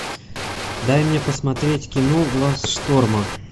дай мне посмотреть кино глаз шторма